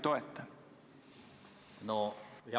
Töötab!